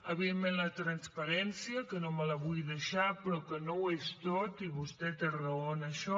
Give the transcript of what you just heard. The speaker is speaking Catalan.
evidentment la transparència que no me la vull deixar però que no ho és tot i vostè té raó en això